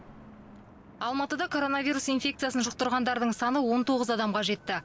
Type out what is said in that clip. алматыда коронавирус инфекциясын жұқтырғандардың саны он тоғыз адамға жетті